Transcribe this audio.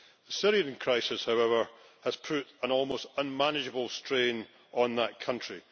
The Syrian crisis, however, has put an almost unmanageable strain on that country.